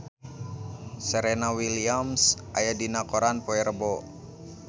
Serena Williams aya dina koran poe Rebo